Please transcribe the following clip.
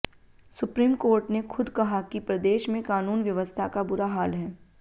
supreme court ने खुद कहा कि प्रदेश में कानून व्यवस्था का बुरा हाल है